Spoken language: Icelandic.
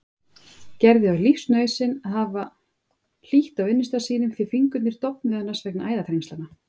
Gerði var lífsnauðsyn að hafa hlýtt á vinnustað sínum því fingurnir dofnuðu annars vegna æðaþrengslanna.